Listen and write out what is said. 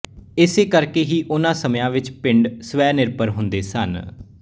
ਏਸੇ ਕਰਕੇ ਹੀ ਉਨ੍ਹਾਂ ਸਮਿਆਂ ਵਿੱਚ ਪਿੰਡ ਸਵੈਨਿਰਭਰ ਹੁੰਦੇ ਸਨ